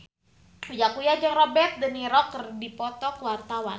Uya Kuya jeung Robert de Niro keur dipoto ku wartawan